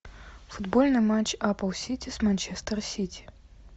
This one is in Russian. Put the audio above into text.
футбольный матч апл сити с манчестер сити